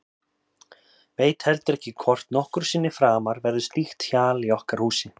Veit heldur ekki hvort nokkru sinni framar verður slíkt hjal í okkar húsi.